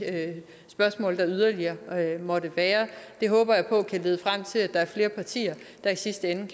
spørgsmål der yderligere måtte være det håber jeg på kan lede frem til at der er flere partier der i sidste ende